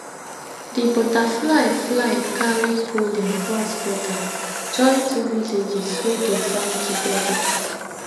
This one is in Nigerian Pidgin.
di butterfly fly carry pollen cross border join two villages wey dey farm together